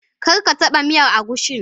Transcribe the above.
Kar ka taba miyar agushin.